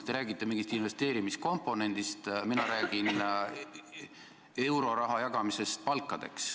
Te räägite mingist investeerimiskomponendist, mina räägin euroraha jagamisest palkadeks.